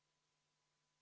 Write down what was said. V a h e a e g